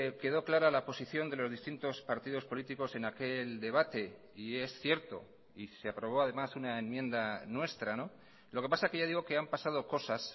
quedó clara la posición de los distintos partidos políticos en aquel debate y es cierto y se aprobó además una enmienda nuestra lo que pasa que ya digo que han pasado cosas